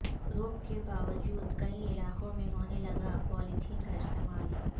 رو ک کے باوجود کئی علاقے میں ہونے لگا پالیتھین کا استعمال